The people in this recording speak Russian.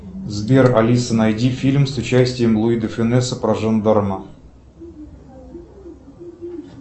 сбер алиса найди фильм с участием луи де фюнеса про жандарма